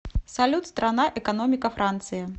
салют страна экономика франции